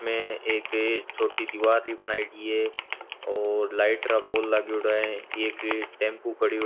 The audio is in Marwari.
मैं एक छोटी दीवार भी बनायेड़ी है और लाइट रा पोल लागेओड़ा है एक टेम्पू खड़ियो --